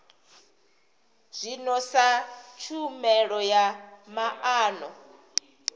zwino sa tshumelo ya maana